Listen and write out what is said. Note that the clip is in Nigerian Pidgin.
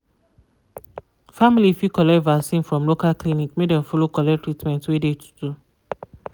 family fit collect vaccin from local clinic make dem follow collect treatment wey de to do.